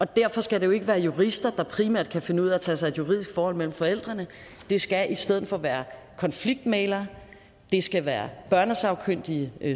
derfor skal det jo ikke være jurister der primært kan finde ud af at tage sig af et juridisk forhold mellem forældrene det skal i stedet for være konfliktmæglere det skal være børnesagkyndige